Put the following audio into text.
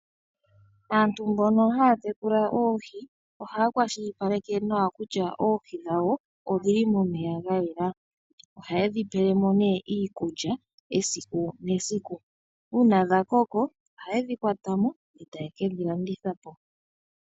Aantu mbono haya tekula oohi ohaya kwashilipaleke nawa kutya oohi dhawo odhili momeya ga yela. Oha yedhi pelemo nee iikulya esiku nesiku. Uuna dha koko oha yedhi kwatamo etaye kedhi landithapo .